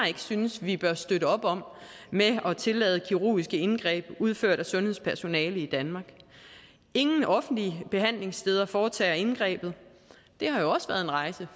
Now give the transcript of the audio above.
ikke synes vi bør støtte op om ved at tillade kirurgiske indgreb udført af sundhedspersonale i danmark ingen offentlige behandlingssteder foretager indgrebet det har jo også været en rejse